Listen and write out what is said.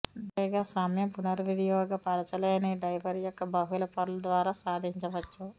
dry పైగా సమయం పునర్వినియోగపరచలేని డైపర్ యొక్క బహుళ పొరలు ద్వారా సాధించవచ్చు